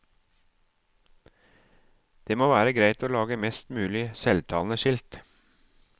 Det må være greit å lage mest mulig selvtalende skilt.